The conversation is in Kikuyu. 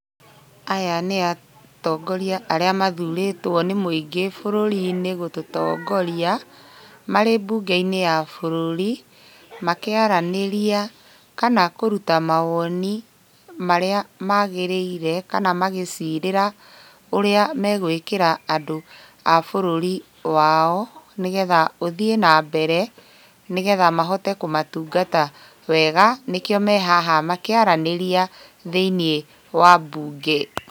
Aya nĩ atongoria arĩa mathurĩtwo nĩ mũingĩ bũrũri-inĩ gũtũtongorai, marĩ mbũnge-inĩ ya bũrũri, makĩaranĩria kana akũruta mawoni marĩa magĩrĩire, kana magĩcirĩra ũrĩa megũĩkĩra andũ a bũrũri wao, nĩgetha ũthiĩ na mbere, nĩgetha mahote kũmatungata wega nĩkĩo me haha, makĩaranĩria thĩiniĩ wa mbunge.